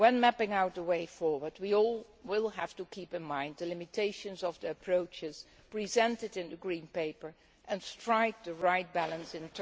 When mapping out the way forward we all will have to keep in mind the limitations of the approaches presented in the Green Paper and strike the right balance in